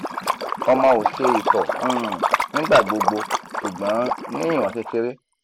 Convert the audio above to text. nibi ọmọ o se ito um nigbagbogbo ṣugbọn ni iwọn kekere